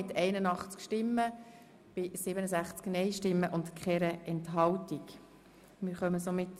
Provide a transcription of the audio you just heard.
Damit kommen wir zur Gesamtabstimmung, wobei der Antrag FDP Teil davon ist.